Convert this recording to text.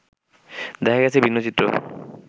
দেখা গেছে ভিন্ন চিত্র